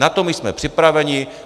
Na to my jsme připraveni.